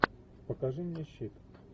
покажи мне щит